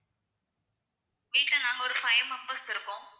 வீட்டுல நாங்க ஒரு five members இருக்கோம்.